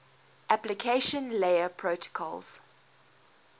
application layer protocols